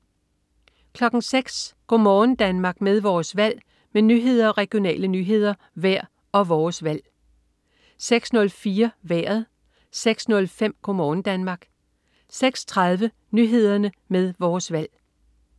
06.00 Go' morgen Danmark med Vores Valg med nyheder, regionale nyheder, vejr og Vores Valg 06.00 Nyhederne med Vores Valg 06.04 Vejret 06.05 Go' morgen Danmark 06.30 Nyhederne med Vores valg